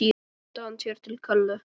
Svo renndi hann sér til Kollu.